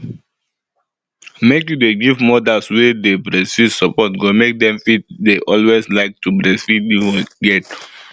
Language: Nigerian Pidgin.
make you dey give mothers wey dey breastfeed support go make dem fit dey always like to breastfeed you get